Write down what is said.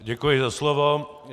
Děkuji za slovo.